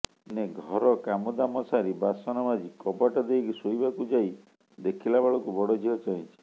ଦିନେ ଘର କାମଦାମ ସାରି ବାସନମାଜି କବାଟ ଦେଇ ଶୋଇବାକୁ ଯାଇ ଦେଖିଲାବେଳକୁ ବଡ଼ଝିଅ ଚାହିଁଛି